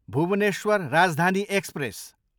Bhubaneswar Rajdhani express